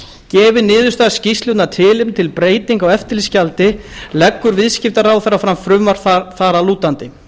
gefi niðurstaða skýrslunnar tilefni til breytinga á eftirlitsgjaldi leggur viðskiptaráðherra fram frumvarp þar að lútandi